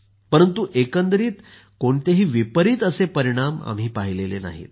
परंतु एकंदरीत कोणतेही विपरित परिणाम आम्ही पाहिलेले नाहित